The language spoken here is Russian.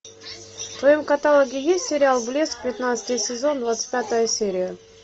в твоем каталоге есть сериал блеск пятнадцатый сезон двадцать пятая серия